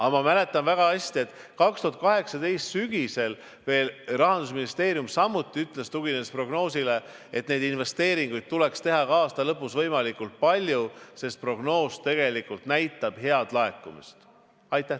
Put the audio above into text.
Aga ma mäletan väga hästi, et 2018. aasta sügisel veel Rahandusministeerium samuti ütles, tuginedes prognoosile, et investeeringuid tuleks teha ka aasta lõpus võimalikult palju, sest prognoos tegelikult näitab head laekumist.